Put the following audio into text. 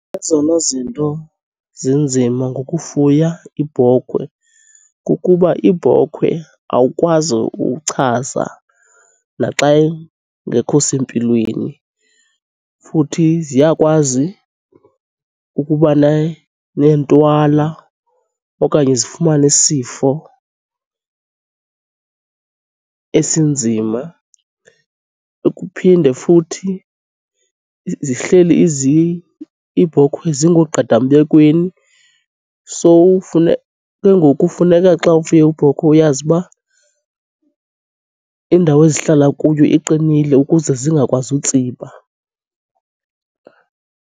Ezona zinto zinzima ngokufuya iibhokhwe kukuba iibhokhwe awukwazi uchaza naxa ingekho sempilweni, futhi ziyakwazi ukuba neentwala okanye zifumane isifo esinzima. Kuphinde futhi zihleli iibhokhwe zingoogqadambekweni, so ke ngoku funeka xa ufuye iibhokhwe uyazi uba indawo ezihlala kuyo iqinile ukuze zingakwazi utsiba.